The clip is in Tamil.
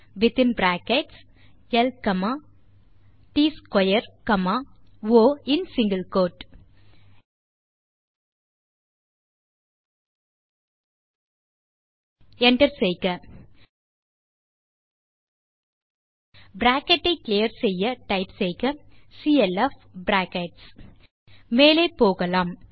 வித்தின் பிராக்கெட் ல் காமா ட்ஸ்க்வேர் காமா ஒ இன் சிங்கில் கோட் enter பிராக்கெட் ஐ கிளியர் செய்ய டைப் செய்க சிஎல்எஃப் பிராக்கெட் மேலே போகலாம்